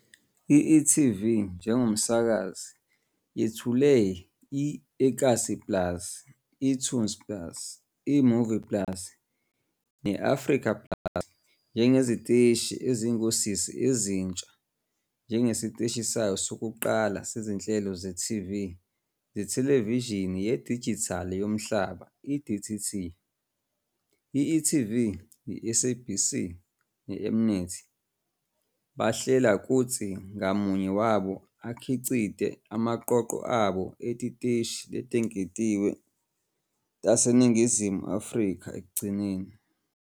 I-e.tv njengomsakazi yethule i-eKasi plus, eToonz plus, eMovies plus ne-eAfrica plus njengeziteshi ezingosisi ezintsha njengesiteshi sayo sokuqala sezinhlelo ze-TV zethelevishini yedijithali yomhlaba, i-DTT. I-e.tv, i-SABC ne-M-Net bahlela kutsi ngamunye wabo akhicite emaqoqo abo etiteshi letengetiwe taseNingizimu Afrika ekugcineni.